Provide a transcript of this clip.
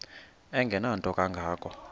engenanto kanga ko